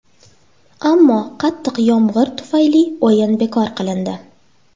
Ammo qattiq yomg‘ir tufayli o‘yin bekor qilindi.